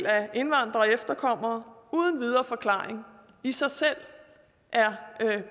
af indvandrere og efterkommere uden videre forklaring i sig selv er